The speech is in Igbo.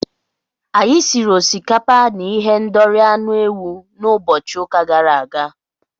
Anyị siri osikapa na ihendori anụ ewu n'ụbọchị ụka gara aga.